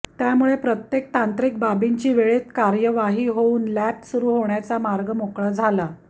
त्यामुळे प्रत्येक तांत्रिक बाबींची वेळेत कार्यवाही होऊन लॅब सुरू होण्याचा मार्ग मोकळा झाला